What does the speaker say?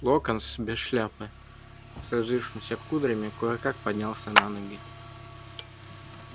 локонс без шляпы с развившимися кудрями кое-как поднялся на ноги